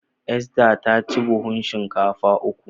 Esther ta ci buhun shinkafa uku